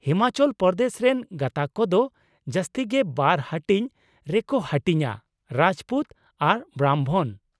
ᱦᱤᱢᱟᱪᱚᱞ ᱯᱨᱚᱫᱮᱥ ᱨᱮᱱ ᱜᱟᱸᱛᱟᱠ ᱠᱚᱫᱚ ᱡᱟᱹᱥᱛᱤ ᱜᱮ ᱵᱟᱨ ᱦᱟᱹᱴᱤᱧ ᱨᱮᱠᱚ ᱦᱟᱹᱴᱤᱧᱼᱟ ᱺ ᱨᱟᱡᱯᱩᱛ ᱟᱨ ᱵᱨᱟᱢᱵᱷᱚᱱ ᱾